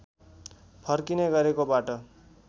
फर्किने गरेकोबाट